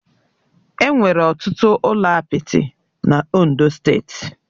Enwere ọtụtụ ụlọ apịtị na Ondo steeti